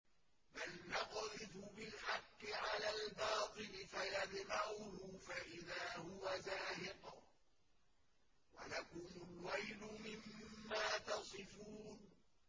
بَلْ نَقْذِفُ بِالْحَقِّ عَلَى الْبَاطِلِ فَيَدْمَغُهُ فَإِذَا هُوَ زَاهِقٌ ۚ وَلَكُمُ الْوَيْلُ مِمَّا تَصِفُونَ